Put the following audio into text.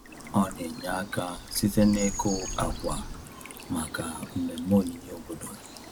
Ọ na-enye aka site n’ịkụ akwa maka mmemme onyinye obodo.